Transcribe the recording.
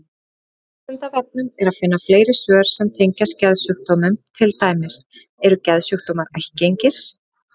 Á Vísindavefnum er að finna fleiri svör sem tengjast geðsjúkdómum, til dæmis: Eru geðsjúkdómar ættgengir?